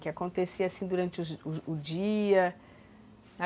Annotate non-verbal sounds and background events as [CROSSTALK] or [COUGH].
Que acontecia assim durante [UNINTELLIGIBLE] o dia?